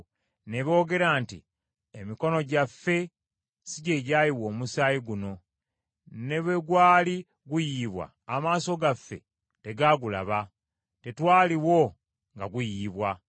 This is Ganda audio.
ne boogera nti, “Emikono gyaffe si gye gyayiwa omusaayi guno, ne bwe gwali guyiyibwa amaaso gaffe tegaagulaba, tetwaliwo nga guyiyibwa.